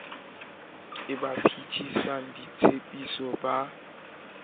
ke ba phethisang ditshepiso ba